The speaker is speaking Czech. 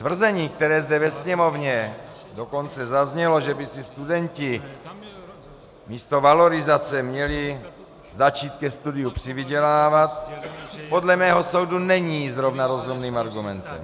Tvrzení, které zde ve Sněmovně dokonce zaznělo, že by si studenti, místo valorizace měli začít ke studiu přivydělávat, podle mého soudu není zrovna rozumným argumentem.